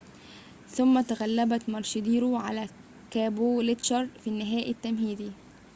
ثُمّ تغلبت ماروشيدور على كابولتشر في النهائي التمهيدي